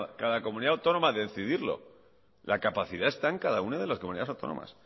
cada comunidad autónoma decidirlo la capacidad está en cada una de las comunidades autónomas